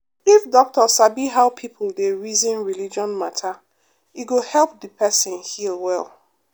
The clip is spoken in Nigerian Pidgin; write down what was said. if doctor sabi how people dey reason religion matter e go help the person heal well.